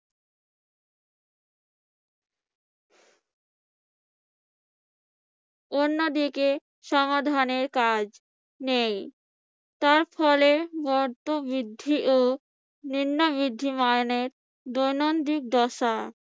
অন্যদিকে সমাধানের কাজ নেই তার ফলে তার ফলে মত বৃদ্ধি ও দৈনন্দিক দশা